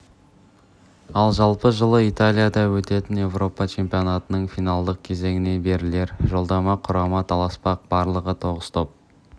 ал жалпы жылы италияда өтетін еуропа чемпионатының финалдық кезеңіне берілер жолдамаға құрама таласпақ барлығы тоғыз топ